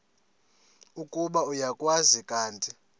ukuba uyakwazi kanti